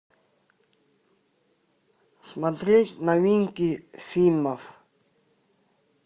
смотреть новинки фильмов